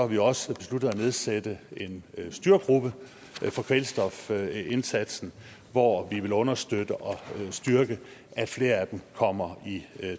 vi også besluttet at nedsætte en styregruppe for kvælstofindsatsen hvor vi vil understøtte og styrke at flere af dem kommer i